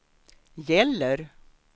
gäller